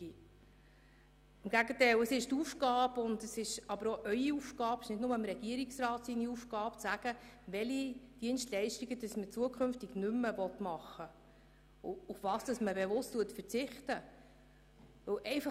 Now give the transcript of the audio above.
Im Gegenteil: Es ist Ihre Aufgabe und auch die Aufgabe des Regierungsrats, zu überlegen, welche Dienstleistungen man zukünftig nicht mehr anbieten und worauf man verzichten will.